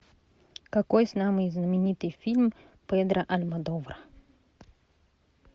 какой самый знаменитый фильм педро альмодовара